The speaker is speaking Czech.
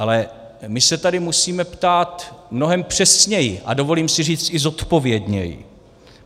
Ale my se tady musíme ptát mnohem přesněji a dovolím si říct i zodpovědněji.